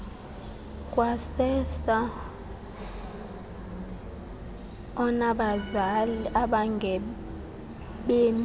kwasersa onabazali abangabemi